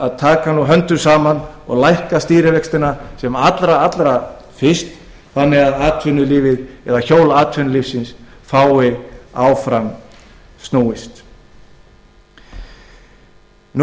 að taka höndum saman og lækka stýrivextina sem allra fyrst þannig að hjól atvinnulífsins fái áfram snúist áður